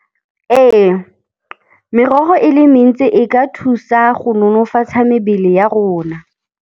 Ee, merogo e le mentsi e ka thusa go nonofatsha mebele ya rona.